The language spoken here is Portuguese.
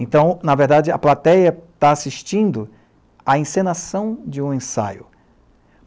Então, na verdade, a plateia está assistindo à encenação de um ensaio.